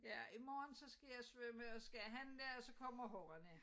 Ja i morgen så skal jeg svømme og så skal jeg handle og så kommer ungerne